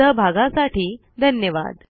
सहभागासाठी धन्यवाद